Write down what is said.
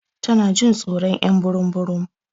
Tana Jin tsoron y'an burum burum.